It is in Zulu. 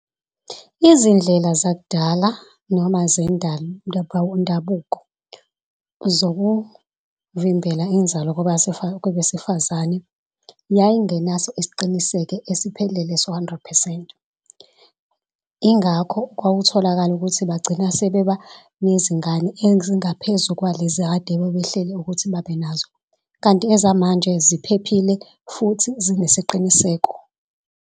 Izindlela zakudala noma zokuvimbela inzalo kubesifazane yayingenaso isiqiniseko esiphelele hundred percent. Ingakho kwakutholakala ukuthi bagcina sebeba nezingane ezingaphezu kwalezi akade bebehlele ukuthi babe nazo. Kanti ezamanje ziphephile futhi zinesiqiniseko.